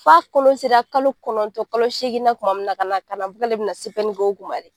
F'a kɔnɔ sera kalo kɔnɔntɔn kalo seegin na ka na ka na k'ale bɛna k'o kuma de.